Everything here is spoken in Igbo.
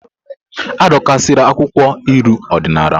Adọkasịla akwụkwọ uri odinala m!